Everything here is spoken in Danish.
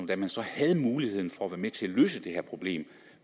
da man så havde muligheden for at være med til at løse det her problem